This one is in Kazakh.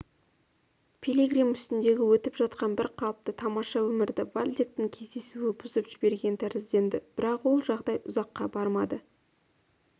пилигрим үстіндегі өтіп жатқан бір қалыпты тамаша өмірді вальдектің кездесуі бұзып жіберген тәрізденді бірақ ол жағдай ұзаққа бармады